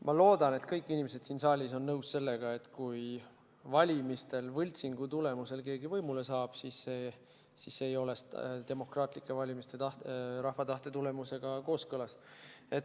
Ma loodan, et kõik inimesed siin saalis on nõus sellega, et kui valimistel keegi võltsingu tulemusel võimule saab, siis see ei ole demokraatlike valimiste ja rahva tahtega kooskõlas.